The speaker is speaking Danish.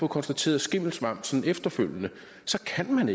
konstateret skimmelsvamp sådan efterfølgende så kan